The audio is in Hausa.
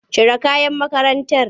Cire kayan makarantar!